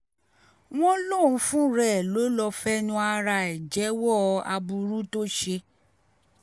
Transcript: wọ́n lóun fúnra ẹ̀ ló lọ́ọ́ fẹnu ara ẹ̀ jẹ́wọ́ aburú tó ṣe